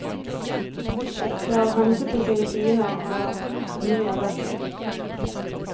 Det er av hensyn til sine fiender han har hemmelig adresse.